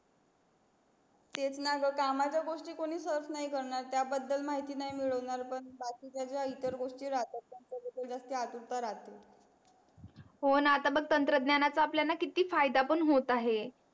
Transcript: तेच णा ग कामाच्या गोष्टी कोणी serach नाही करणार त्या बदल माहिती नाही मिळवणार पण बाकीच्या ज्या इतर गोष्टी राहतात त्यांच्या बदल जास्त आतुरता राहते हो णा आता बग तंत्रज्ञानाचा आपल्यान किती फायदा पण होत आहे.